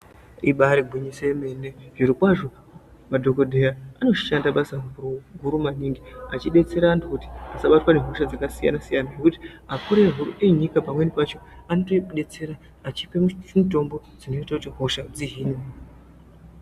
I Ibari gwinyiso yemene zvirokwazvo madhokodheya anoshanda basa guru guru maningi achidetsera antu asabatwa ngehosha dzakasiyana siyana zvekuti akuruhu enyika pamweni pacho anotodetsera achipe mutombo dzinoita kuti hosha dzihine.